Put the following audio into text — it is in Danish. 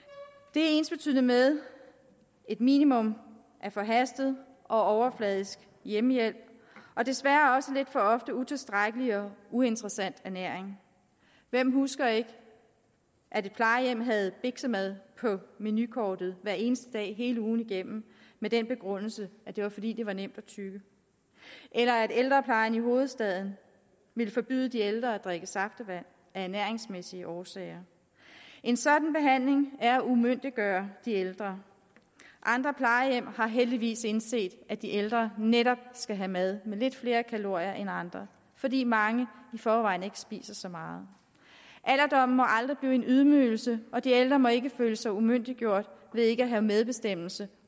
det er ensbetydende med et minimum af forhastet og overfladisk hjemmehjælp og desværre også lidt for ofte utilstrækkelig og uinteressant ernæring hvem husker ikke at et plejehjem havde biksemad på menukortet hver eneste dag hele ugen igennem med den begrundelse at det var fordi det var nemt at tygge eller at ældreplejen i hovedstaden ville forbyde de ældre at drikke saftevand af ernæringsmæssige årsager en sådan behandling er at umyndiggøre de ældre andre plejehjem har heldigvis indset at de ældre netop skal have mad med lidt flere kalorier end andre fordi mange i forvejen ikke spiser så meget alderdommen må aldrig blive en ydmygelse og de ældre må ikke føle sig umyndiggjort ved ikke have medbestemmelse